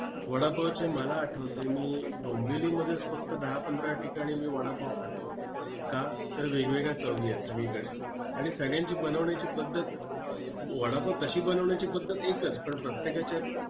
वडापावचे मला आठवतंय, मी डोंबिवलीमध्येच फक्त दहा-पंधरा ठिकाणी मी वडापाव खातो. का? तर वेगवेगळ्या चवी आहेत सगळीकडे, आणि सगळ्यांची बनवण्याची पद्धत! वडापाव तशी बनवण्याची पद्धत एकच! पण, प्रत्येकाच्या